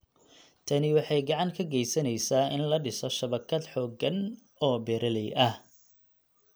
Tani waxay gacan ka geysaneysaa in la dhiso shabakad xooggan oo beeraley ah.